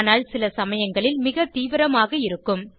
ஆனால் சில சமயங்களில் மிக தீவிரமாக இருக்கும்